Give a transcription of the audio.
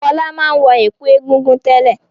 Fọlá máa ń wọ ẹ̀kú Egungun tẹ́lẹ̀.